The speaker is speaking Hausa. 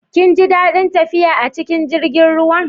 Kin ji dadin tafiya a cikin jirigin ruwan?